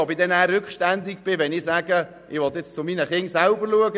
Ich weiss nicht, ob ich rückständig bin, wenn ich meine Kinder selber betreuen will;